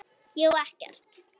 Ég á ekkert.